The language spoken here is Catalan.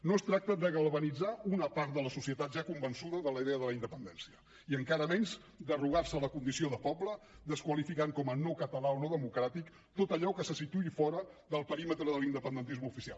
no es tracta de galvanitzar una part de la societat ja convençuda de la idea de la independència i encara menys d’arrogar se la condició de poble desqualificant com a no català o no democràtic tot allò que se situï fora del perímetre de l’independentisme oficial